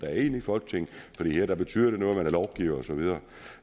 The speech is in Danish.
er inde i folketinget for her betyder det noget man er lovgiver og så videre